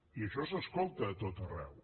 i això s’escolta a tot arreu